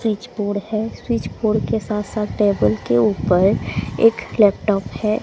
Switch board है switch board के साथ साथ टेबल के ऊपर एक लैपटॉप है।